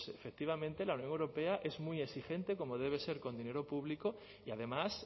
efectivamente la unión europea es muy exigente como debe ser con dinero público y además